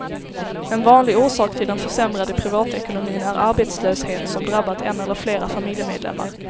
En vanlig orsak till den försämrade privatekonomin är arbetslöshet, som drabbat en eller flera familjemedlemmar.